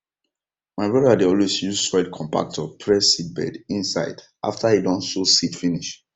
my brother dey always use soil compactor press seedbed inside after e don sow seed finish